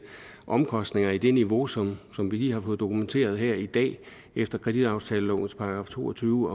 omkostninger i det niveau som som vi lige har fået dokumenteret her i dag efter kreditaftalelovens § to og tyve